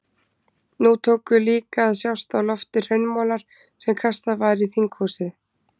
Nú tóku líka að sjást á lofti hraunmolar sem kastað var í þinghúsið.